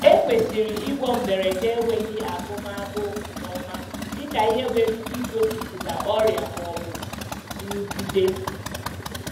Ekwesịrị ịgwọ mberede enweghi agụm agụụ nke ọma dịka ihe nwere ike igosipụta ọrịa ma ọ bụ nrụgide.